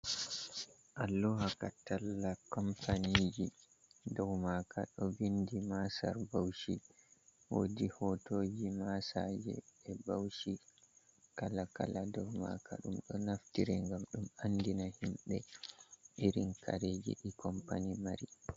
Alluha ka talla kompaniji. Dou maka ɗo vindi masar Bauchi, wodi hotoji masaje e Bauchi kala-kala dou maka. Ɗum ɗo naftire ngam ɗum andina himɓe irin kareje ɗi kompani mari.